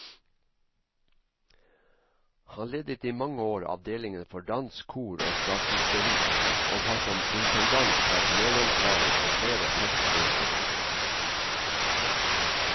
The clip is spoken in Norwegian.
Han ledet i mange år avdelingen for dans, kor og statisteri, og har som intendant vært medansvarlig for flere festforestillinger.